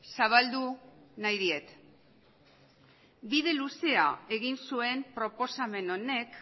zabaldu nahi diet bide luzea egin zuen proposamen honek